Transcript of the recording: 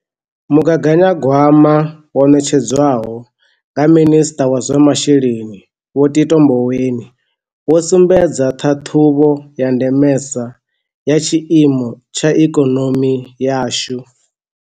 Mugaganyagwama wo ṋetshedzwa ho nga Minisṱa wa zwa Masheleni Vho Tito Mboweni wo sumbedza ṱhaṱhuvho ya ndemesa ya tshiimo tsha ikonomi yashu.